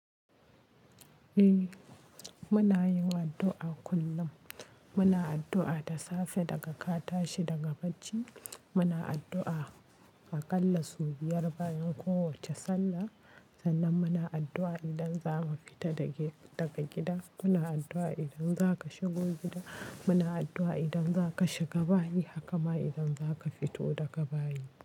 Eh muna yi wa addu'a kullum. Muna addu'a da safe daga ka tashi daga bacci, muna addu'a aƙalla sau biyar bayan kowace sallah, sannan muna addu'a idan zamu fita daga gida, muna addu'a idan zaka shigo gida, muna addu'a idan zaka shiga bayi, haka ma idan zaka fito daga bayi.